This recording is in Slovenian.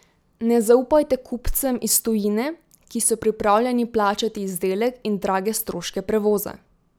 Ne zaupajte kupcem iz tujine, ki so pripravljeni plačati izdelek in drage stroške prevoza.